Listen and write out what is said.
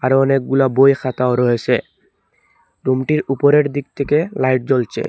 আরও অনেকগুলা বই খাতাও রয়েসে রুমটির উপরের দিক থেকে লাইট জ্বলছে।